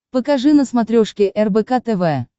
покажи на смотрешке рбк тв